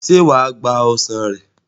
Ṣé wà á gba ọsàn rẹ̀?